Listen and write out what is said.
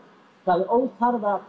það er óþarfi